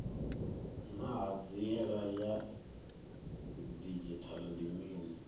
naa hanziela ya didzhithala ndi mini